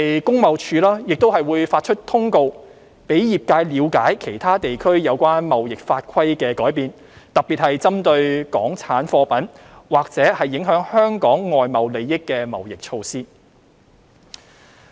工貿署亦會發出通告，讓業界了解其他地區有關貿易法規的改變，特別是針對港產貨品或影響香港外貿利益的貿易措施。